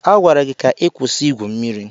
A gwara gị ka ị kwụsị Ị gwụ mmiri.